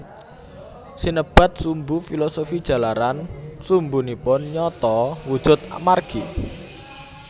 Sinebat sumbu filosofi jalaran sumbunipun nyata wujud margi